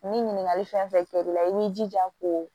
Ni ɲininkali fɛn fɛn kɛra i la i b'i jija ko